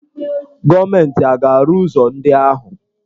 Gọọmenti a ga-arụ ụzọ ndị ahụ?